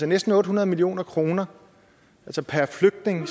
næsten otte hundrede million kroner altså per flygtning